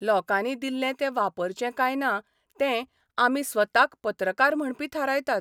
लोकांनी दिल्लें तें वापरचें काय ना तें आमी स्वताक पत्रकार म्हणपी थारायतात.